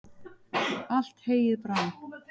allt heyið brann